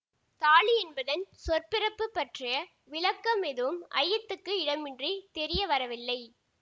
தாலி என்பதன் சொற்பிறப்புப் பற்றிய விளக்கம் எதுவும் ஐயத்துக்கு இடமின்றித் தெரிய வரவில்லை